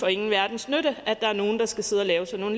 ingen verdens nytte at der er nogen der skal sidde og lave sådan